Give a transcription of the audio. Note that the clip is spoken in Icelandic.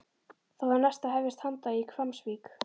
Þá var næst að hefjast handa í Hvammsvík.